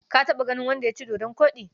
Ka taɓa ganin wanda ya ci dodon koɗi?